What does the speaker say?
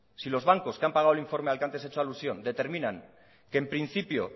si los bancos que han pagado el informe al que antes he hecho alusión determinan que en principio